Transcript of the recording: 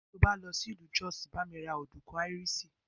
Tí o bá lọ sí ìlú Jos, bá mi ra ọ̀dùnkún áíríṣì.